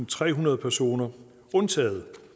trehundrede personer undtaget